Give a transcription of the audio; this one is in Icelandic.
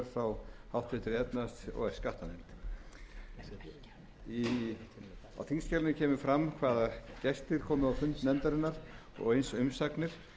og níu og er frá háttvirtri efnahags og skattanefnd á þingskjalinu kemur fram hvaða gestir komu á fund nefndarinnar og eins umsagnir